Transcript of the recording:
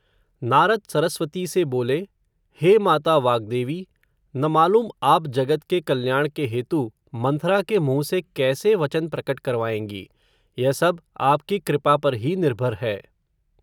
नारद सरस्वती से बोले, हे माता वाग्देवी, न मालूम आप जगत के कल्याण के हेतु, मंथरा के मुँह से कैसे वचन प्रकट करवायेंगी, यह सब, आपकी कृपा पर ही निर्भर है